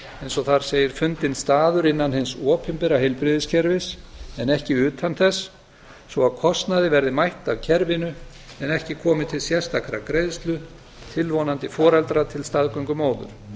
eins og þar segir fundinn staður innan hins opinbera heilbrigðiskerfis en ekki utan þess svo að kostnaði verði mætt af kerfinu en ekki komi til sérstakrar greiðslu tilvonandi foreldra til staðgöngumóður